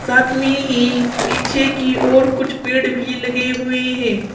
साथ में ही पीछे की ओर कुछ पेड़ भी लगे हुए हैं।